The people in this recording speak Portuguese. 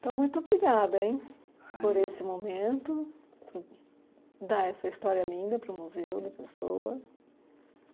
Então, muito obrigada, hein, por esse momento, por dar essa história linda para o museu da pessoa.